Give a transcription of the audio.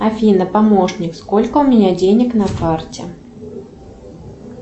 афина помощник сколько у меня денег на карте